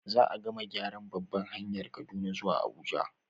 Za gama gyaran babbar hanyar Kaduna zuwa Abuja